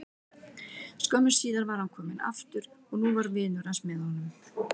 Skömmu síðar var hann kominn aftur og nú var vinur hans með honum.